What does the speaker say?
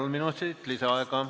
Kolm minutit lisaaega.